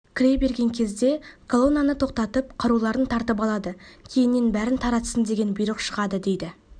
кіре берген кезде колоннаны тоқтатып қаруларын тартып алады кейіннен бәрін таратсын деген бұйрық шығады дейді